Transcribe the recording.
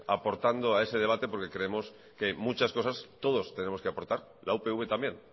aportando a ese debate porque creemos que muchas cosas todos tenemos que aportar la upv también